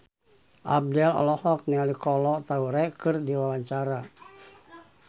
Abdel olohok ningali Kolo Taure keur diwawancara